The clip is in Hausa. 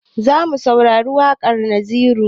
Zamu saurari waƙar naziru